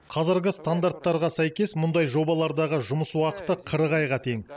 қазіргі стандарттарға сәйкес мұндай жобалардағы жұмыс уақыты қырық айға тең